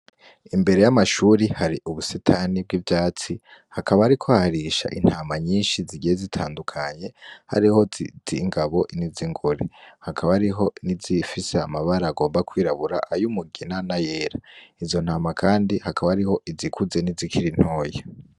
Imbere y'amashure hari ubusitani bw'ivyatsi, hakaba hariko harisha intama nyinshi zigiye zitandukanye, hariho izingabo niz'ingore, hakaba hariho izifise amabara agomba kw'irabura ay'umugina n'ayera izo ntama Kandi hakaba hari izikuze nizikiri ntoya.